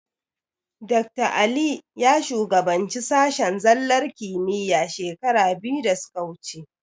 Dakta Ali ya shugabanci sashen zallar kimiyya shekara biyu da suka wuce.